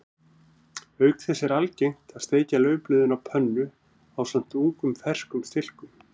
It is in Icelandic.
Auk þess er algengt að steikja laufblöðin á pönnu ásamt ungum ferskum stilkum.